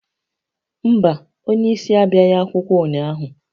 Mba, onye isi abịaghị akwụkwọ ụnyaahụ